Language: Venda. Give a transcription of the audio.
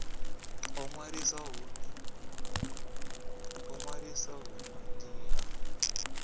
u ṅwalisa uhu ndi ha